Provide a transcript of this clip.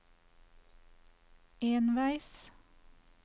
enveis